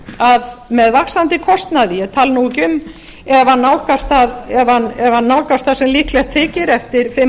að með vaxandi kostnaði ég tala nú ekki um ef hann nálgast það sem líklegt þykir eftir fimm